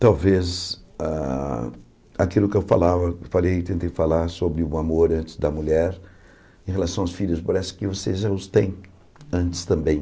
Talvez ah aquilo que eu falava falei, tentei falar sobre o amor antes da mulher, em relação aos filhos, parece que vocês já os têm antes também.